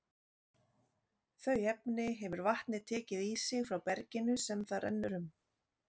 Þau efni hefur vatnið tekið í sig frá berginu sem það rennur um.